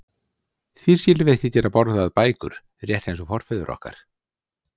Því skyldum við ekki geta borðað bækur, rétt eins og forfeður okkar?